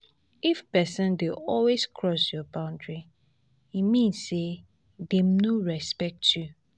if pesin dey always cross your boundary e mean say dem no respect you.